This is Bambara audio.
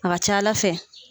A ca ALA fɛ.